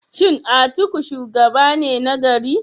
Shin Atiku shugaba ne nagari?